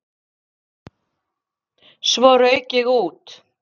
Svo rauk ég út.